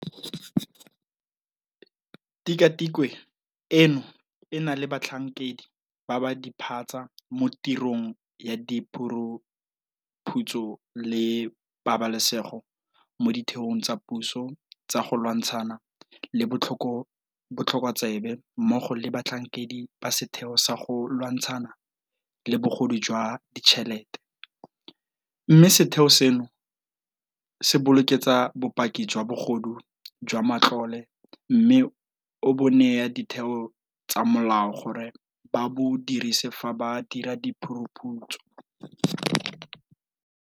Tikwatikwe eno e na le batlhankedi ba ba diphatsa mo tirong ya diphuruphutso le pabalesego mo ditheong tsa puso tsa go lwantshana le botlhokotsebe mmogo le batlhankedi ba Setheo sa go Lwantshana le Bogodu jwa Ditšhelete, mme setheo seno se bokeletsa bopaki jwa bogodu jwa matlole mme o bo neye ditheo tsa molao gore ba bo dirise fa ba dira diphuruphutso.